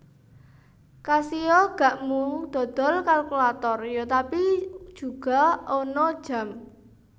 Casio gak mung dodol kalkulator yo tapi juga ana jam